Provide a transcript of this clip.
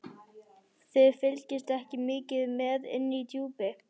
Þið fylgist ekki mikið með inni í Djúpi.